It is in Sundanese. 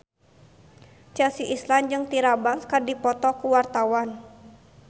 Chelsea Islan jeung Tyra Banks keur dipoto ku wartawan